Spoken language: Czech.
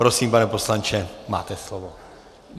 Prosím, pane poslanče, máte slovo.